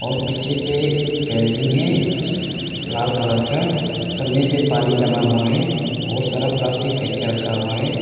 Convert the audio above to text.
और पीछे पे फैंसिंग है लाल कलर का पे पानी जमा हुआ है और सारा प्लास्टिक फेक के रखा हुआ है।